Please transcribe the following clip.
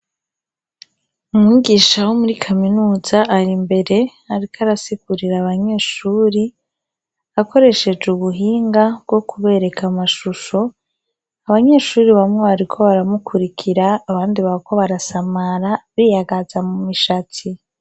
Umigisha wo muri kaminuza ari imbere, ariko arasikurira abanyeshuri akoresheje uguhinga bwo kubereka amashusho abanyeshuri bamwe bariko baramukurikira abandi bako barasamara biyagaza mu mishatsi.